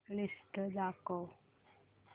list दाखव